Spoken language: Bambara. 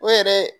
O yɛrɛ